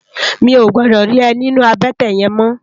Mi ó gbòdò ri è ninú àbètè yèn mò